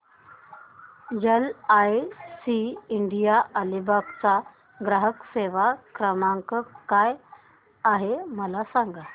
LIC India Alibag चा ग्राहक सेवा क्रमांक काय आहे मला सांगा